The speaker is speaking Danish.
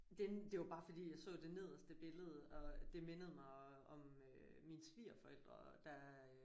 Den det var bare fordi jeg så det nederste billede og det mindede mig om øh mine svigerforældre der